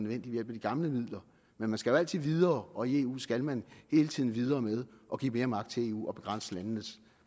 ved hjælp af de gamle midler men man skal jo altid videre og i eu skal man hele tiden videre med at give mere magt til eu og begrænse landenes